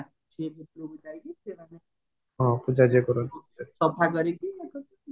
ସଫା କରିକି